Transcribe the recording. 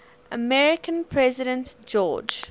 american president george